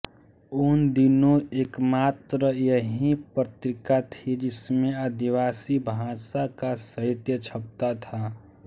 उन दिनों एकमात्र यही पत्रिका थी जिसमें आदिवासी भाषा का साहित्य छपता था